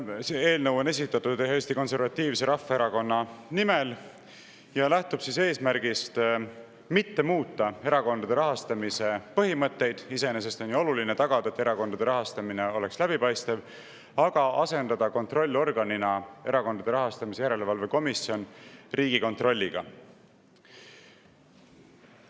See eelnõu on esitatud Eesti Konservatiivse Rahvaerakonna nimel ja lähtub eesmärgist mitte muuta erakondade rahastamise põhimõtteid – iseenesest on ju oluline tagada, et erakondade rahastamine oleks läbipaistev –, vaid asendada kontrollorgan Erakondade Rahastamise Järelevalve Komisjon Riigikontrolliga.